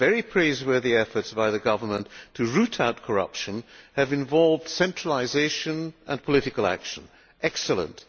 The very praiseworthy efforts by the government to root out corruption have involved centralisation and political action, which is excellent.